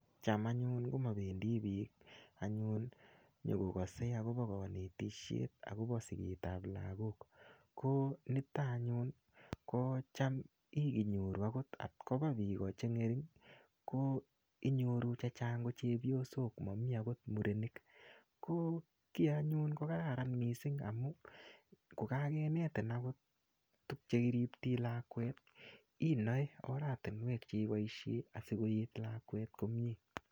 Cham anyun komabendi biik anyun nyikokase akobo kanetishet akobo sigetab lagok. Ko niton anyun, ko cham inyoru agot kapkoba biik che ng'ering' ko inyoru chechang ko chepyosok, mamii agot murenik. Ko kiy anyun ko kararan missing amu, kokakenetin agot tug che kiriptei lakwet, inae oratinwek che iboisie asikoet lakwet komyee.